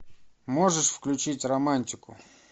можешь включить романтику